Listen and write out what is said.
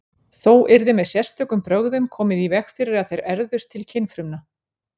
Þó yrði með sérstökum brögðum komið í veg fyrir að þeir erfðust til kynfrumna.